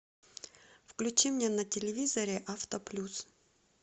включи мне на телевизоре авто плюс